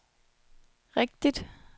rigtigt